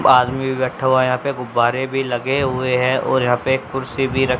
आदमी भी बैठा हुआ है यहा पे गुब्बारे भी लगे हुए है और यहा पे एक कुर्सी भी र --